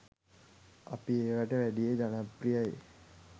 අපේ ඒවට වැඩිය ජනප්‍රියයි.